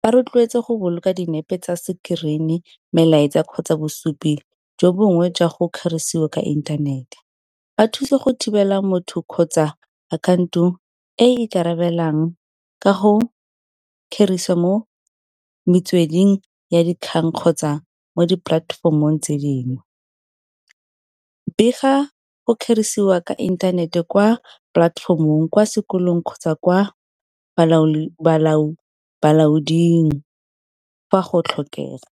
Ba rotloetse go boloka dinepe tsa screen-i, melaetsa kgotsa bosupi jo bongwe jwa go kgerisiwa ka inthanete. Ba thuse go thibela motho kgotsa akhaonto e ikarabelang ka go kgerisa mo metsweding ya dikgang kgotsa mo dipolatefomong tse dingwe. Bega go kgerisiwa ka inthanete kwa polatefomong kwa sekolong kgotsa kwa bolaoding fa go tlhokega.